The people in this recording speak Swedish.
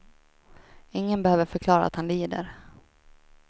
Ingen behöver förklara att han lider.